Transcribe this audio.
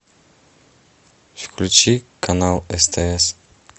включи канал стс